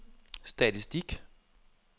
statistik